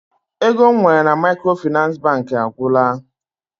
Ego m nwere na Maịkrofịnansị Bankị agwụla.